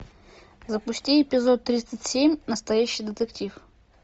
запусти эпизод тридцать семь настоящий детектив